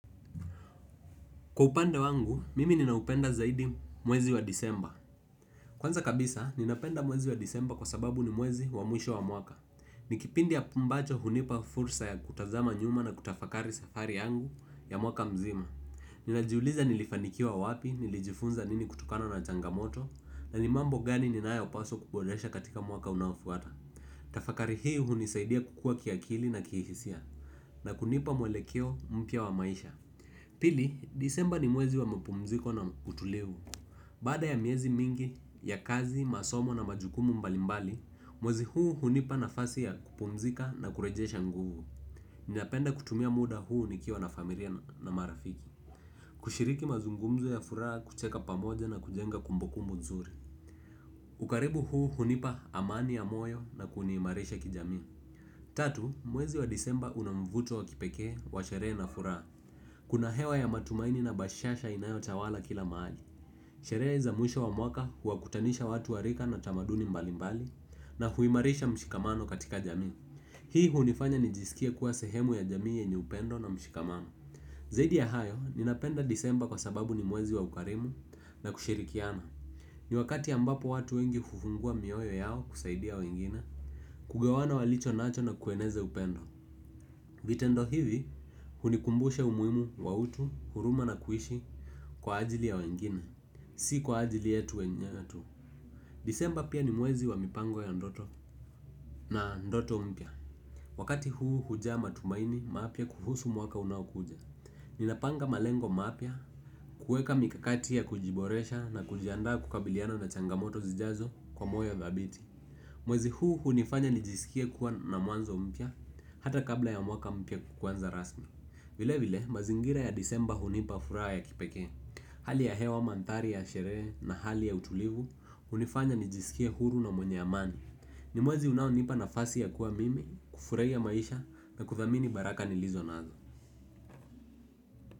Kwa upande wangu, mimi ninaupenda zaidi mwezi wa Disemba. Kwanza kabisa, ninaupenda mwezi wa Disemba kwasababu ni mwezi wa mwisho wa mwaka. Nikipindi ambacho hunipa fursa ya kutazama nyuma na kutafakari safari yangu ya mwaka mzima. Ninajiuliza nilifanikiwa wapi, nilijifunza nini kutokano na changamoto na ni mambo gani ninayo paswa kuboresha katika mwaka unafuata. Tafakari hii hunisaidia kukua kiakili na kihisia. Na kunipa mwelekeo mpya wa maisha. Pili, Disemba ni mwezi wa mapumziko na utulivu. Baada ya miezi mingi ya kazi, masomo na majukumu mbalimbali. Mwezi huu hunipa nafasi ya kupumzika na kurejsha nguvu. Napenda kutumia muda huu nikiwa na familia na marafiki kushiriki mazungumzo ya furaha kucheka pamoja na kujenga kumbukumbu nzuri. Ukaribu huu hunipa amani ya moyo na kuniimarisha kijamii. Tatu, mwezi wa Disemba unamvuto wa kipekee wa sherehe na furaha. Kuna hewa ya matumaini na bashasha inayotawala kila mahali. Sherehe za mwisho wa mwaka huwakutanisha watu warika na utamaduni mbali mbali na kuimarisha mshikamano katika jamii. Hii hunifanya nijiskia kuwa sehemu ya jamii yenye upendo na mshikamano. Zaidi ya hayo, ninapenda Disemba kwa sababu ni mwezi wa ukarimu na kushirikiana. Ni wakati ambapo watu wengi hufungua mioyo yao kusaidia wengine kushiriki mazungumzo ya furaha kuchekaka pamoja na kujenga kumbukumbu nzuri. Vitendo hivi hunikumbusha umuhimu wa utu, huruma na kuishi kwa ajili ya wengine, si kwa ajili yetu wenyewe tu. Disemba pia ni mwezi wa mipango ya ndoto na ndoto mpya. Wakati huu huja matumaini mapya kuhusu mwaka unaokuja. Ninapanga malengo mapya, kuweka mikakati ya kujiboresha na kujianda kukabiliano na changamoto zijazo kwa moyo dhabiti. Mwezi huu hunifanya nijiskei kuwa na mwanzo mpya hata kabla ya mwaka mpya kuanza rasmi. Vile vile mazingira ya Disemba hunipa furaha ya kipekee. Hali ya hewa manthari ya sherehe na hali ya utulivu hunifanya nijisikie huru na mwenye amani. Nimwezi unaonipa nafasi ya kuwa mimi. Kufurahia maisha na kuthamini baraka nilizonazo.